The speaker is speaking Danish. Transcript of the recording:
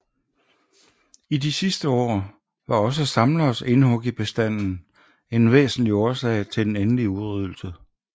I de sidste år var også samleres indhug i bestanden en væsentlig årsag til den endelige udryddelse